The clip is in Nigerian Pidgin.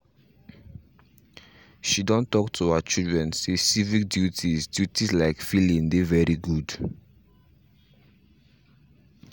she done talk to her children say civic duties duties like filling dey very good